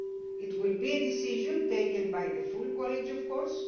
It will be a decision taken by the full College, of course.